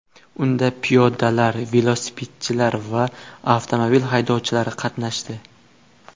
Unda piyodalar, velosipedchilar va avtomobil haydovchilari qatnashdi.